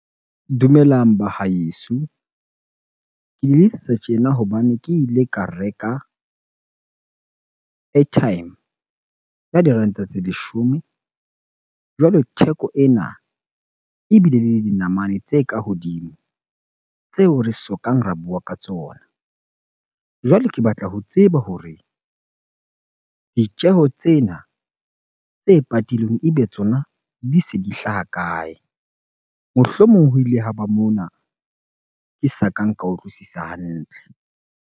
Dumelang ba haeso. Ke le letsetsa tjena hobane ke ile ka reka airtime ya diranta tse leshome. Jwale theko ena ebile le dinamane tse ka hodimo tseo re sokang re bua ka tsona. Jwale ke batla ho tseba hore ditjeho tsena tse patilweng ebe tsona di se di hlaha kae? Mohlomong ho ile ha ba mona ke sa kang ka utlwisisa hantle.